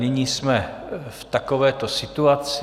Nyní jsme v takovéto situaci.